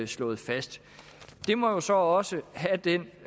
slået fast det må jo så også have den